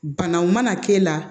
Banaw mana k'e la